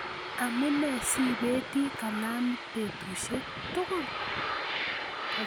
Amune sibeti kalamit betusiek tugul